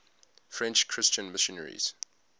french christian missionaries